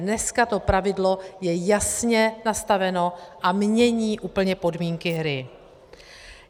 Dneska to pravidlo je jasně nastaveno a mění úplně podmínky hry.